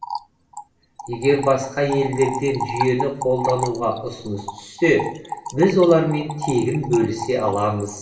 егер басқа елдерден жүйені қолдануға ұсыныс түссе біз олармен тегін бөлісе аламыз